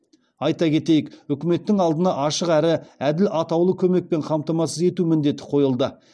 айта кетейік үкіметтің алдына ашық әрі әділ атаулы көмекпен қамтамасыз ету міндеті қойылды